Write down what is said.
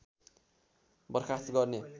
बरखास्त गर्ने